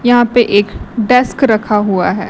यहां पे एक डेस्क रखा हुआ है।